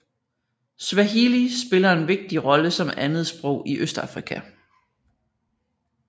Swahili spiller en vigtig rolle som andetsprog i Østafrika